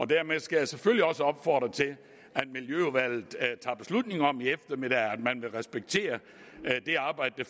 dermed skal jeg selvfølgelig også opfordre til at miljøudvalget i eftermiddag om at man vil respektere det arbejde